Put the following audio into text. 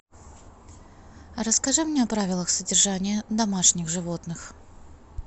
расскажи мне о правилах содержания домашних животных